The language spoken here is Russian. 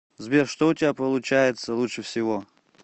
сбер что у тебя получается лучше всего